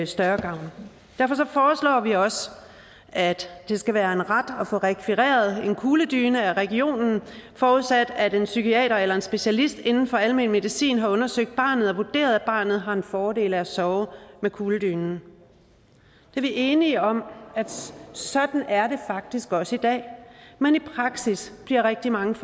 større gavn derfor foreslår vi også at der skal være en ret til at få rekvireret en kugledyne af regionen forudsat at en psykiater eller en specialist inden for almen medicin har undersøgt barnet og vurderet at barnet har en fordel af at sove med kugledynen vi er enige om at sådan er det faktisk også i dag men i praksis bliver rigtig mange